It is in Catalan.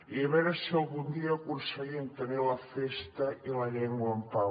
i a veure si algun dia aconseguim tenir la festa i la llengua en pau